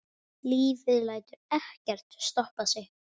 Lífið lætur ekkert stoppa sig.